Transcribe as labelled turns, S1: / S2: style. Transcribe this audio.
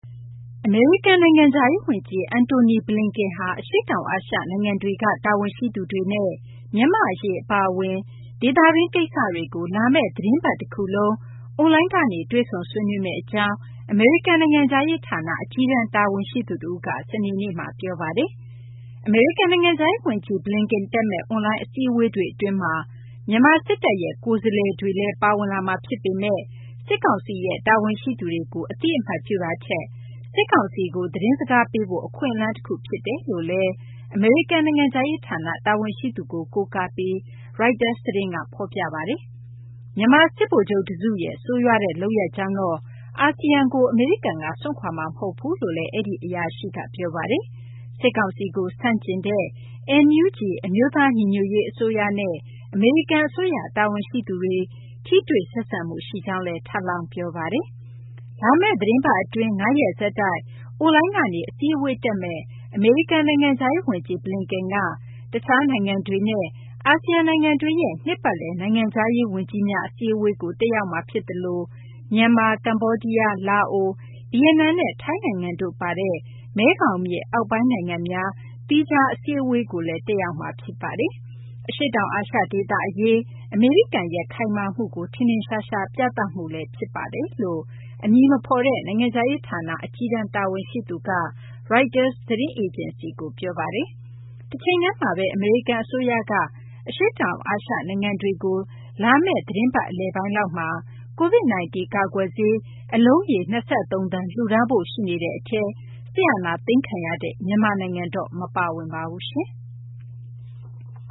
S1: အမေရိကန် နိုင်ငံခြားရေး ဝန်ကြီး Antony Blinken ဟာ အရှေ့တောင် အာရှ နိုင်ငံတွေက တာဝန်ရှိသူတွေနဲ့ မြန်မာ့အရေး အပါအဝင် ဒေသတွင်း ကိစ္စတွေကို လာမယ့် သီတင်းပတ် တခုလုံး အွန်လိုင်းကနေ တွေ့ဆုံ ဆွေးနွေးမယ့် အကြောင်း အမေရိကန် နိုင်ငံခြားရေး ဌာန အကြီးတန် တာဝန်ရှိသူ တဦးက စနေနေ့မှာ ပြောပါတယ်။ အမေရိကန် နိုင်ငံခြားရေး ဝန်ကြီး Blinken တက်မယ့် အွန်လိုင်း အစည်းအဝေးတွေ အတွင်းမှာ မြန်မာ စစ်တပ်ရဲ့ ကိုယ်စားလှယ်တွေလည်း ပါဝင်လာမှာ ဖြစ်ပေမယ့်လည်း စစ်ကောင်စီရဲ့ တာဝန်ရှိသူတွေကို အသိအမှတ်ပြုတာထက် စစ်ကောင်စီကို သတင်းစကားပေးဖို့ အခွင့်အလမ်း တခု ဖြစ်တယ်လို့လည်း အမေရိကန် နိုင်ငံခြားရေး ဌာန တာဝန်ရှိသူကို ကိုးကားပြီး Reuters သတင်းက ဖော်ပြခဲ့တာပါ။ မြန်မာ စစ်ဗိုလ်ချုပ် တစုရဲ့ ဆိုးရွားတဲ့ လုပ်ရပ်ကြောင့်တော့ အာဆီယံကို အမေရိကန်က စွန့်ခွာမှာ မဟုတ်ဘူးလို့လည်း အဲဒီ အရာရှိက ပြောပါတယ်။ စစ်ကောင်စီကို ဆန့်ကျင်တဲ့ NUG အမျိုးသား ညီညွတ်ရေး အစိုးရနဲ့ အမေရိကန် အစိုးရ တာဝန်ရှိသူတွေ ထိတွေ့ဆက်ဆံမှု ရှိကြောင်းလည်း ထပ်လောင်း ပြောပါတယ်။ လာမယ့် သီတင်းပတ် အတွင်း ၅ ရက်ဆက်တိုက် အွန်လိုင်းကနေ အစည်းအဝေး တက်မယ့် အမေရိကန် နိုင်ငံခြားရေး ဝန်ကြီး Blinken က တခြားနိုင်ငံတွေနဲ့ အာဆီယံ နိုင်ငံတွေရဲ့ နှစ်ပတ်လည် နိုင်ငံခြားရေး ဝန်ကြီးများ အစည်းအဝေးကို တက်ရောက်မှာ ဖြစ်သလို မြန်မာ၊ ကမေ ္ဘာဒီးယား၊ လာအို၊ ဗီယက်နမ်နဲ့ ထိုင်းနိုင်ငံတို့ ပါတဲ့ မဲခေါင်မြစ် အောက်ပိုင်း နိုင်ငံများ သီးခြား စည်းဝေးပွဲကိုလည်း တက်ရောက်မှာ ဖြစ်ပါတယ်။ အရှေ့တောင် အာရှ ဒေသ အရေး အမေရိကန်ရဲ့ ခိုင်မာမှုကို ထင်ထင်ရှားရှား ပြသမှု ဖြစ်ပါတယ်လို့ အမည်မဖော်တဲ့ နိုင်ငံခြားရေး ဌာန အကြီးတန်း တာဝန်ရှိသူက Reuters သတင်းအေဂျင်စီကို ပြောပါတယ်။ တချိန်တည်းမှာဘဲ အမေရိကန် အစိုးရက အရှေ့တောင် အာရှ နိုင်ငံတွေကို လာမယ့် သီတင်းပတ် အလယ်ပိုင်းလောက်မှာ Covid-19 ကာကွယ်ဆေး အလုံးရေ ၂၃ သန်း လှူဒါန်းဖို့ ရှိနေတဲ့ အထဲမှာ စစ်အာဏာသိမ်းခံထားရတဲ့ မြန်မာနိုင်ငံ မပါဝင်ပါဘူး။